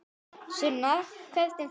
Sunna: Hvernig þá?